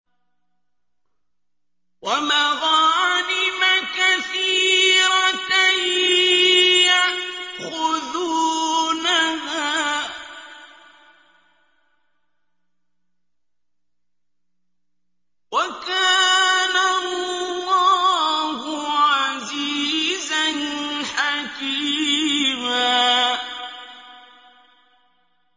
وَمَغَانِمَ كَثِيرَةً يَأْخُذُونَهَا ۗ وَكَانَ اللَّهُ عَزِيزًا حَكِيمًا